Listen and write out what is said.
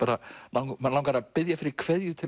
mann langar að biðja fyrir kveðju til